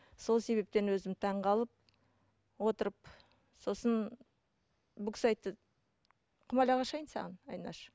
сол себептен өзім таңғалып отырып сосын бұл кісі айтты құмалақ ашайын саған айнаш